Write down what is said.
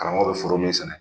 Karamɔgɔ bɛ foro min sɛnɛ